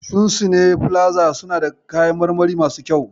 Shunsine filaza suna da kayan marmari masu kyau.